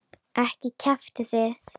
Ekki kjaftið þið.